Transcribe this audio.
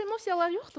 Xoş emosiyalar yoxdurmu?